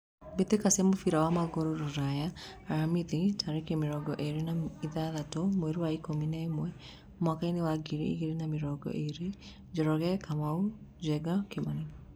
Mbĩtĩka cia mũbira wa magũrũ Ruraya Aramithi tarĩki mĩrongo ĩrĩ na ithathatũ mweri wa ikũmi na ĩmwe mwakainĩ wa ngiri igĩrĩ na mĩrongo ĩrĩ: Njoroge, Kamau, Njenga, Kimani.